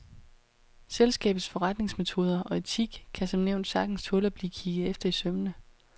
Selskabets forretningsmetoder og etik kan som nævnt sagtens tåle at blive kigget efter i sømmene.